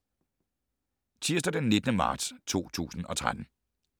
Tirsdag d. 19. marts 2013